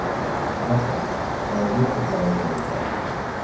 Kráka, hvaða vikudagur er í dag?